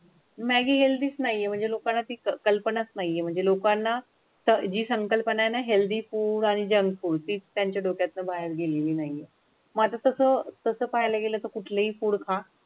Healthy नाही हे म्हणजे लोकांना ती कल्पनाच नाही म्हणजे लोकांना तर जी संकल्पना हेल्दी आणि जंक फुड ती त्यांच्या डोक्यात बाहेर गेलेली नाहीये. मग तसं तसं पाहायला गेलं तर कुठलेही फुड खा